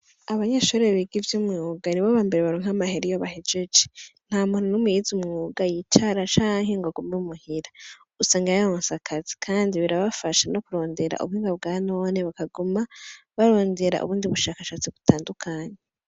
Abanyeshure biga ivyimyuga nibo baronka amahera iyo bahejeje ntamuntu numwe yize umwuga yicara canke ngo agume muhira usanga yaronse akazi birabafasha nokurondera Ubuhinga bwanone bakaguma barondera ubundi bushakashatsi butandukanye .